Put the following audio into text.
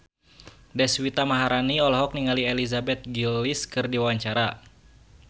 Deswita Maharani olohok ningali Elizabeth Gillies keur diwawancara